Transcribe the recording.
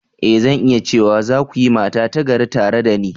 E! Zan iya cewa, za ku yi mata ta gari tare da ni.